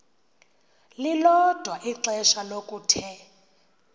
lilodwa ixesha lokuthe